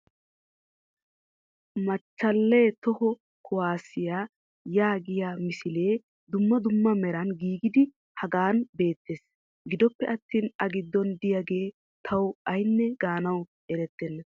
Mechaale toho kuwaassiya yaagiya misilee dumma dumma meran giigidi hagan beettees. Gidoppe attin a giddon diyagee tawu aynne gaanawu erettenna.